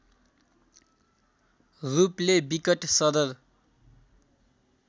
रूपले विकट सदर